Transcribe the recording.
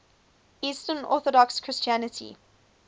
eastern orthodox christianity